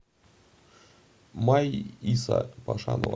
майиса пашанова